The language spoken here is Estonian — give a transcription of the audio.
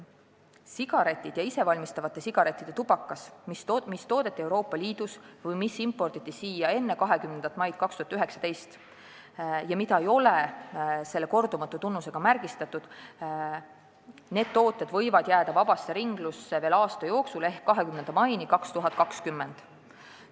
Sigaretid ja isevalmistatavate sigarettide tubakas, mis on toodetud Euroopa Liidus või imporditud siia enne 20. maid 2019 ja mida ei ole kordumatu tunnusega märgistatud, võivad jääda vabasse ringlusse veel aasta jooksul ehk 20. maini 2020.